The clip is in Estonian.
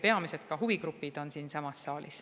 Peamised huvigrupid on ka siinsamas saalis.